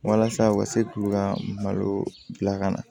Walasa u ka se k'u ka malo bila ka na